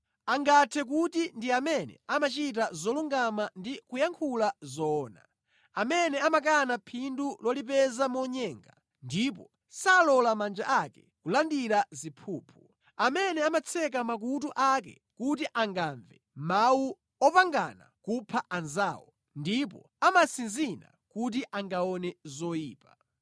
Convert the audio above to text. Angathe kuti ndi amene amachita zolungama ndi kuyankhula zoona, amene amakana phindu lolipeza monyenga ndipo salola manja ake kulandira ziphuphu, amene amatseka makutu ake kuti angamve mawu opangana kupha anzawo ndipo amatsinzina kuti angaone zoyipa.